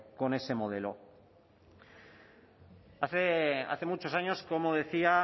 con ese modelo hace muchos años como decía